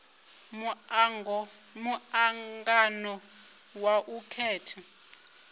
mu angano wa u khetha